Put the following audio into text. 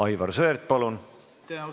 Aivar Sõerd, palun!